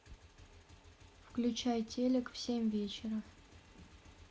включай телек в семь вечера